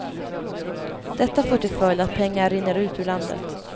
Detta får till följd att pengar rinner ut ur landet.